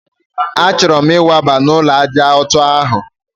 A chọrọ m ikwaba n'ulo ájá ọtọ ahụ